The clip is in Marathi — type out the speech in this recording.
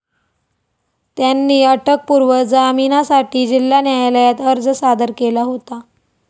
त्यांनी अटकपूर्व जामिनासाठी जिल्हा न्यायालयात अर्ज सादर केला होता.